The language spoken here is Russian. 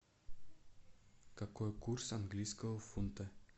какой курс английского фунта